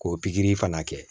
K'o pikiri fana kɛ